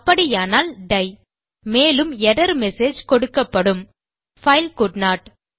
அப்படியானால் டை மேலும் எர்ரர் மெசேஜ் கொடுக்கப்படும் பைல் கோல்டன்ட்